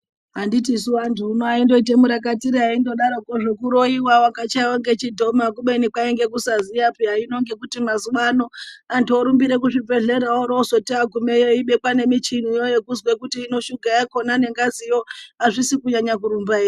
Anditi vantu vaindoita murakatira kuroiwa wakavhaiwa ngechidhoma kubeni kwainga kisaziyapeya vantu mazuva ano vorumbira kuzvibhehleya orobanzwi agumayo obekwa nemichini onzwa kuti suga yakona nengazi yo hazvidi kunyanya kurumba here.